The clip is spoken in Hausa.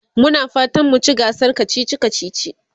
Muna fatan mu ci gasar kacici kacici.